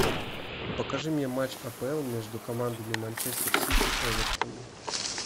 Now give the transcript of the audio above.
покажи мне матч апл между командами манчестер сити эвертон